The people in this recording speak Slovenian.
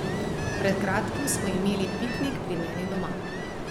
Pred kratkim smo imeli piknik pri meni doma.